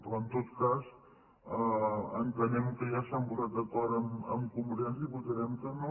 però en tot cas entenem que ja s’han posat d’acord amb convergència i votarem que no